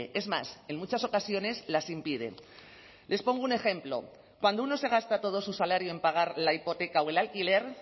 es más en muchas ocasiones las impiden les pongo un ejemplo cuando uno se gasta todo su salario en pagar la hipoteca o el alquiler